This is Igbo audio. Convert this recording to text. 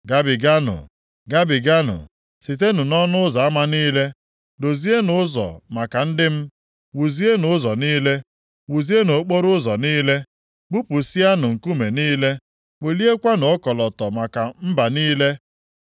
Gabiganụ! Gabiganụ sitenụ nʼọnụ ụzọ ama niile. Dozienụ ụzọ maka ndị m. Wuzienụ ụzọ niile, wuzienụ okporoụzọ niile. Bupụsịanụ nkume niile, weliekwanụ ọkọlọtọ maka mba niile.